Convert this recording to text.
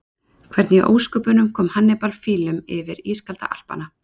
Hvernig í ósköpunum kom Hannibal fílum yfir ískalda Alpana?